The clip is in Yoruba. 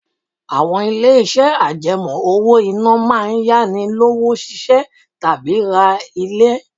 Àwọn ilé-iṣẹ́ àjẹmó owó-ìná máa ń yá ni lówó ṣiṣẹ́ tàbí ra ilé.